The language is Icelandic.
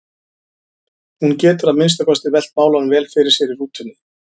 Hún getur að minnsta kosti velt málunum vel fyrir sér í rútunni.